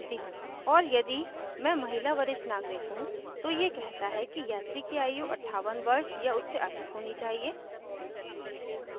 और यदि मैं महिला वरिष्ठ नागरिक हूँ तो ये कहता है यात्री की आयु 58 वर्ष या उससे अधिक होनी चाहिए